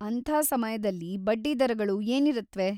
ಅಂಥ ಸಮಯದಲ್ಲಿ ಬಡ್ಡಿ ದರಗಳು ಏನಿರತ್ವೆ?